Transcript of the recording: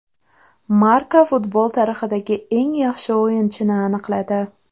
Marca futbol tarixidagi eng yaxshi o‘yinchini aniqladi !